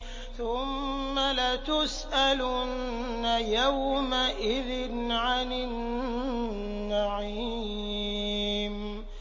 ثُمَّ لَتُسْأَلُنَّ يَوْمَئِذٍ عَنِ النَّعِيمِ